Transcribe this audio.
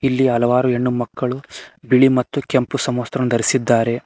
ಇಲ್ಲಿ ಹಲವಾರು ಹೆಣ್ಣುಮಕ್ಕಳು ಬಿಳಿ ಮತ್ತು ಕೆಂಪು ಸಮವಸ್ತ್ರವನ್ನು ಧರಿಸಿದ್ದಾರೆ.